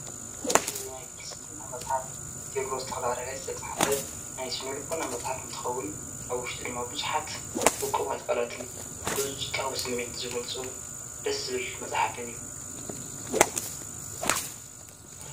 እዝ ናይ ፍልስትን ናብመጽሓፍ እቴብሮ ዝተላረካይ ዝተጽሓፈ ናይ ስነልቦ ናመጽሓብ እንትኸውን ኣብ ውሽጡ ድማ ብዙኃት ውቁም ኣትቃላትን ብዙፁጣውስሜንቲ ዚይጐልፁ ደስብል መጽሓብን እዩ።